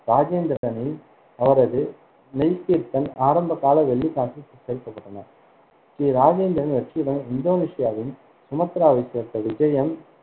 ராஜேந்திரனின் அவரது மெய்கீர்த்தன் ஆரம்பகால வெள்ளிக் சேர்க்கப்பட்டன. ஸ்ரீ ராஜேந்திரன் வெற்றியுடன் இந்தோனேசியாவின் சுமத்ராவைச் சேர்ந்த விஜயம்